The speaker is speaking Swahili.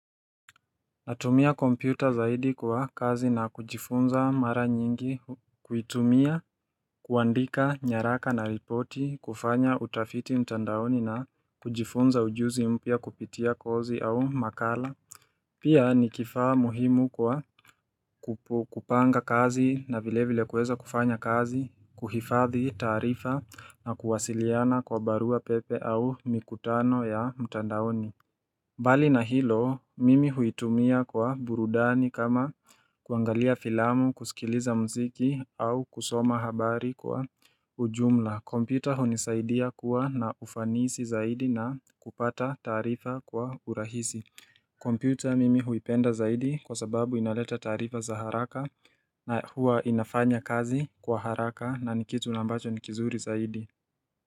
Natumia kompyuta zaidi kwa kazi na kujifunza mara nyingi kuitumia kuandika nyaraka na ripoti kufanya utafiti mtandaoni na kujifunza ujuzi mpia kupitia kozi au makala Pia ni kifaa muhimu kwa kupanga kazi na vile vile kueza kufanya kazi kuhifathi tarifa na kuwasiliana kwa barua pepe au mikutano ya mtandaoni mbali na hilo mimi huitumia kwa burudani kama kuangalia filamu, kusikiliza mziki au kusoma habari kwa ujumla. Kompyuta hunisaidia kuwa na ufanisi zaidi na kupata taarifa kwa urahisi. Kompiuta mimi huipenda zaidi kwa sababu inaleta tarifa za haraka na hua inafanya kazi kwa haraka na nikitu na ambacho ni kizuri zaidi.